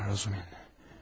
Ay Razumi.